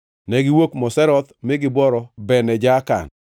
Negiwuok Moseroth mi gibworo Bene Jaakan.